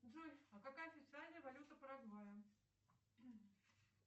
джой а какая официальная валюта парагвая